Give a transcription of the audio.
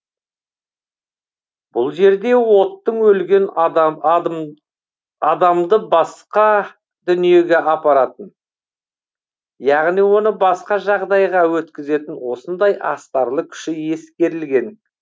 бұл жерде оттың өлген адамды басқа дүниеге апаратын яғни оны басқа жағдайға өткізетін осындай астарлы күші ескерілген